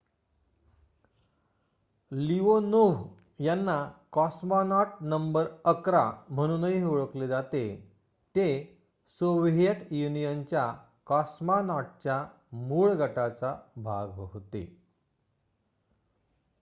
Leonov यांना ''cosmonaut number ११'' म्हणूनही ओळखले जाते ते सोव्हिएट युनियनच्या कॉस्मॉनॉटच्या मूळ गटाचा भाग होते